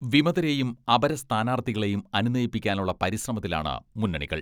വിമതരേയും അപര സ്ഥാനാർത്ഥികളെയും അനുനയിപ്പിക്കാനുള്ള പരിശ്രമത്തിലാണ് മുന്നണികൾ.